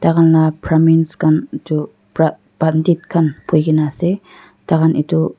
khanla brahmins khan itu pra pandit khan buhigena ase taihan itu.